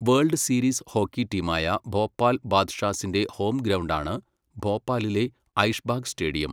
World series hockey ടീമായ ഭോപ്പാൽ ബാദ്ഷാസിന്റെ home ഗ്രൗണ്ടാണ് ഭോപ്പാലിലെ ഐഷ്ബാഗ് സ്റ്റേഡിയം.